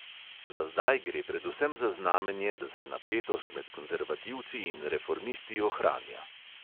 Za zdaj gre predvsem za znamenje, da se napetost med konzervativci in reformisti ohranja.